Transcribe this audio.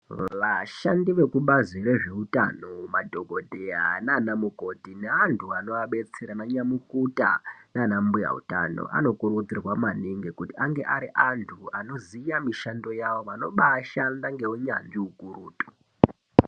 Vashandi veku bazi rezve utano ma dhokoteya nana mukoti ne antu anova detsera ana nyamukuta nana mbuya utano ano kurudzirwa maningi kuti ange ari antu anoziya mishando yavo vanobai shanda nge unyanzvi ukurutu.